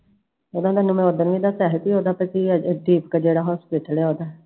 ਓਹਦਾ ਤੈਨੂੰ ਮੈਂ ਉਦਣ ਵੀ ਦੱਸਿਆ ਹੀ ਓਹਦਾ ਇਥੇ ਇਕ ਜਿਹੜਾ ਹੌਸਪੀਟਲ ਆ ਓਹਦਾ